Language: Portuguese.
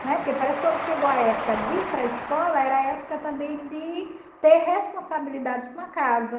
Né? Porque parece que quando chegou a época de ir para a escola, era a época também de ter responsabilidades com a casa.